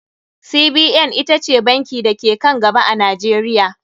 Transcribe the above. CBN ita ce banki da ke ka n gaba a Najeriya.